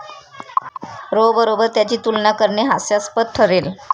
row बरोबर त्याची तुलना करणे हास्यास्पद ठरेल